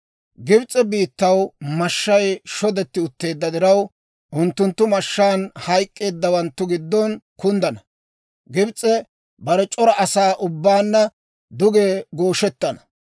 «Gibs'e biittaw mashshay shodetti utteedda diraw, unttunttu mashshaan hayk'k'eeddawanttu giddo kunddana; Gibs'e bare c'ora asaa ubbaanna duge gooshettana.